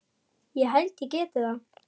ég held ég geti það ekki.